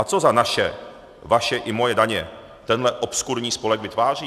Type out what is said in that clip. A co za naše - vaše i moje - daně tenhle obskurní spolek vytváří?